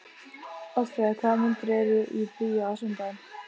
Oddfreyja, hvaða myndir eru í bíó á sunnudaginn?